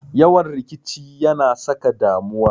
Yawan rikici ya na saka damuwa.